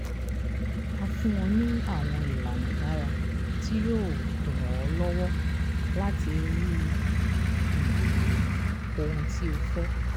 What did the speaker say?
a fún ọ ní àwọn ìlànà dára tí yóò ràn ọ́ lọ́wọ́ láti rí um ohun tí o fẹ́.